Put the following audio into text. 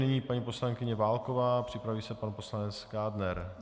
Nyní paní poslankyně Válková, připraví se pan poslanec Kádner.